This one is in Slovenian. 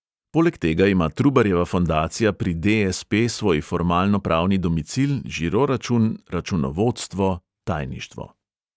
Poleg tega ima trubarjeva fondacija pri de|es|pe svoj formalno-pravni domicil, žiro račun, računovodstvo, tajništvo.